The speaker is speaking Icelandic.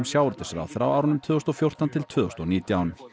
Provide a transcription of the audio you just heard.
sjávarútvegsráðherra á árunum tvö þúsund og fjórtán til tvö þúsund og nítján